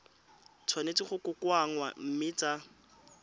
tshwanetse go kokoanngwa mme tsa